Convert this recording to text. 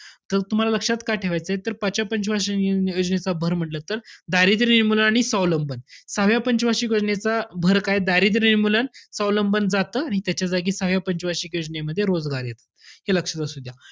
तर तुम्हाला लक्षात का ठेवायचंय, पाचव्या पंच वार्षिक योजनेचा भर म्हंटल तर दारिद्र्य निर्मूलन आणि स्वावलंबन. सहाव्या पंच वार्षिक योजनेचा भर काय, दारिद्र्य निर्मूलन, स्वावलंबन जातं आणि त्याच्या जागी सहाव्या पंच वार्षिक योजनेमध्ये रोजगार येतो. हे लक्षात असू द्या.